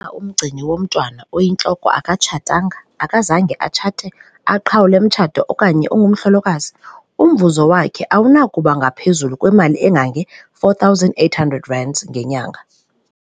Umgcini womntwana oyintloko akatshatanga, akazange atshate, aqhawule umtshato okanye ungumhlolokazi, umvuzo wakhe awunakuba ngaphezulu kwama-R4 800 ngenyanga.